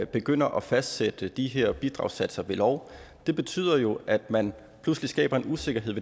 begynder at fastsætte de her bidragssatser ved lov er at man pludselig skaber en usikkerhed